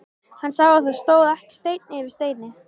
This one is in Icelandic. Hann sá að það stóð ekki steinn yfir steini.